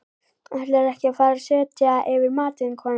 Ætlarðu ekki að fara að setja yfir matinn, kona?